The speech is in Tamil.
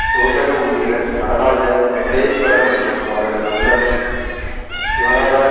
சோசக உறுப்பினர் நடராஜா விமலேஸ்வரன் மற்றும் அவரது நண்பன் சிவநாதன்